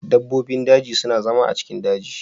Dabbobin daji su na zama a'daji.